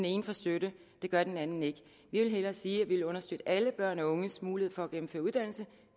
ene får støtte det gør den anden ikke vi vil hellere sige at vi vil understøtte alle børn og unges mulighed for at gennemføre uddannelse